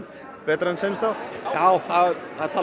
betra en seinustu ár já það